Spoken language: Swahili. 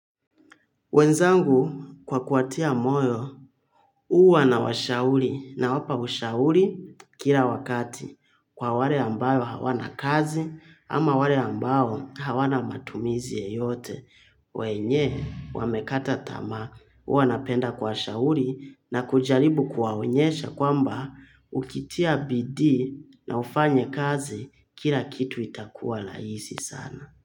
Wenzangu kwa kuwatia moyo, huwa nawashauri nawapa ushauri kila wakati kwa wale ambalo hawana kazi ama wale ambao hawana matumizi yeyote. Wenye, wamekata tamaa, huwa napenda kuwashauri na kujaribu kuwaonyesha kwamba ukitia bidii na ufanye kazi kila kitu itakuwa rahisi sana.